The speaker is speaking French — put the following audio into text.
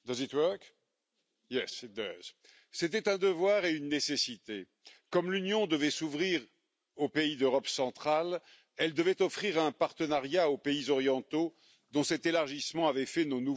Madame la Présidente, c'était un devoir et une nécessité. Comme l'Union devait s'ouvrir aux pays d'Europe centrale, elle devait offrir un partenariat au pays orientaux dont cet élargissement avait fait nos nouveaux voisins.